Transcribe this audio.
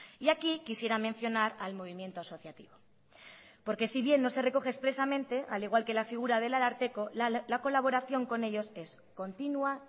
y aquí quisiera mencionar al movimiento asociativo porque si bien no se recoge expresamente al igual que la figura del ararteko la colaboración con ellos es continua